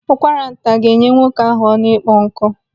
Ụkwara nta ga-enye nwoke ahụ ọnụ ịkpọ nkụ.